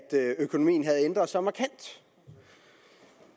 økonomien har ændret sig markant